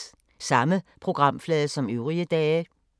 Samme programflade som øvrige dage